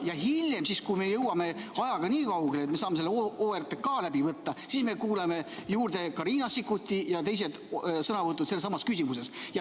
Ja hiljem – siis, kui me jõuame ajaga nii kaugele, et me saame selle OTRK läbi võtta – me kuuleme juurde ka Riina Sikkuti sõnavõtu ja teised sõnavõtud sessamas küsimuses.